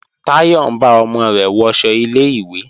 Táyọ̀ ń bá ọmọ rẹ̀ wọṣọ ilé-ìwé